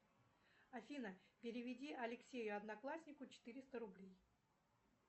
афина переведи алексею однокласснику четыреста рублей